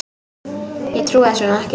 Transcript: Ég trúi þessu nú ekki!